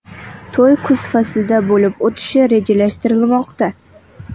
To‘y kuz faslida bo‘lib o‘tishi rejalashtirilmoqda.